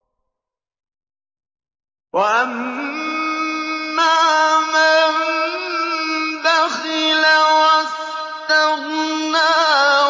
وَأَمَّا مَن بَخِلَ وَاسْتَغْنَىٰ